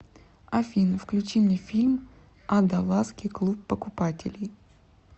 афина включи мне фильм а даласский клуб покупателей